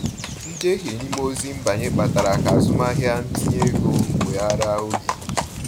Njehie n’ime ozi nbanye kpatara ka azụmahịa ntinye ego weghaara oge.